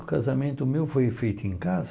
O casamento meu foi feito em casa.